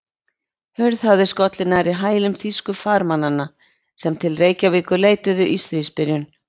Hurð hafði skollið nærri hælum þýsku farmannanna, sem til Reykjavíkur leituðu í stríðsbyrjun.